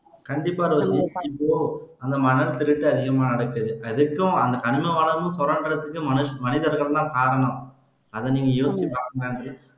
கண்டிப்பா மணல் திருட்டு அதிகமா இருக்கு அதுக்கும் கனிம வளமும் சுரண்டுறதுக்கும் மனிச மனிதர்கள்தான் காரணம் அதை நீங்க